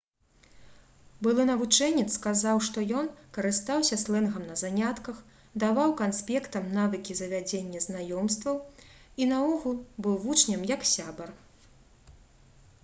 былы навучэнец сказаў што ён «карыстаўся слэнгам на занятках даваў канспектам навыкі завядзення знаёмстваў і наогул быў вучням як сябар»